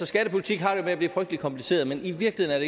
skattepolitik har det med at blive frygtelig kompliceret men i virkeligheden